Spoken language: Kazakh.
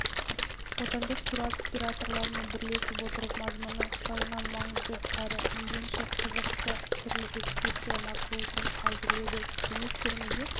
отандық туроператорлармен бірлесе отырып мазмұны жағынан маңызды әрі мейлінше қызықты түрлі экскурсия маршрутын әзірледі демек көрмеге